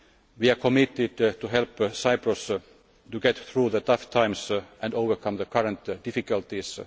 times we are committed to help Cyprus to get through the tough times and overcome the current difficulties.